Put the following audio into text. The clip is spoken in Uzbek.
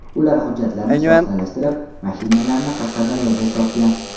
Ular hujjatlarni soxtalashtirib, mashinalarni Qashqadaryoda sotgan.